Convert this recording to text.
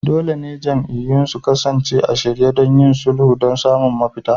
Dole ne jam'iyyun su kasance a shirye don yin sulhu don samun mafita.